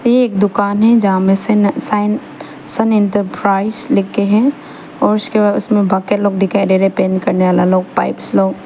एक दुकान है जहां में सन साइन सन एंटरप्राइज लिखे हैं और उसके बाद उसमें बाकी लोग दिखाई दे रहे हैं पेंट्स करने वाला लोग पाइप लोग।